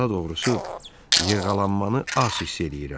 Daha doğrusu yırğalanmanı az hiss eləyirəm.